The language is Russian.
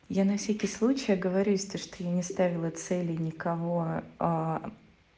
я на всякий случай оговорюсь то что я не ставила цели и никого